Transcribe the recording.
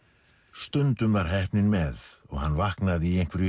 stundum var heppnin með og hann vaknaði í einhverju